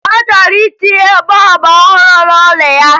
Ọ chọrọ itinye bọọbụ ọhụrụ n'ụlọ ya